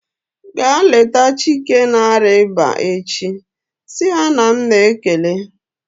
Ga leta Chike na-arịa ịba echi! Si ya na m na-ekele